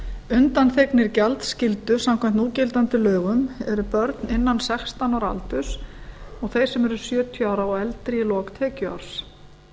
undanþegnir gjaldskyldu samkvæmt núgildandi lögum eru börn innan sextán ára aldurs og þeir sem eru sjötíu ára og eldri í lok tekjuárs